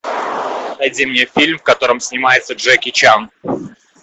найди мне фильм в котором снимается джеки чан